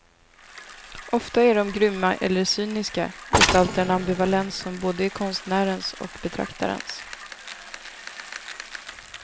Ofta är de grymma eller cyniska, gestaltar en ambivalens som både är konstnärens och betraktarens.